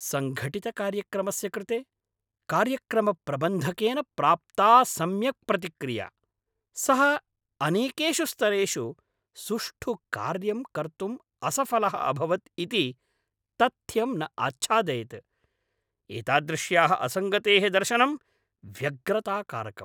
सङ्घटितकार्यक्रमस्य कृते कार्यक्रमप्रबन्धकेन प्राप्ता सम्यक् प्रतिक्रिया, सः अनेकेषु स्तरेषु सुष्ठु कार्यं कर्तुं असफलः अभवत् इति तथ्यं न आच्छादयत्। एतादृश्याः असङ्गतेः दर्शनं व्यग्रताकारकम्।